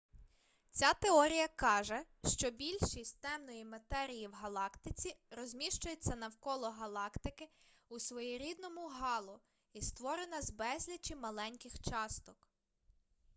ця теорія каже що більшість темної матерії в галактиці розміщується навколо галактики у своєрідному гало і створена з безлічі маленьких часток